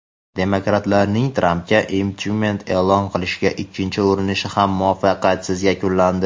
demokratlarning Trampga impichment e’lon qilishga ikkinchi urinishi ham muvaffaqiyatsiz yakunlandi.